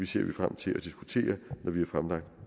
ser vi frem til at diskutere når vi har fremlagt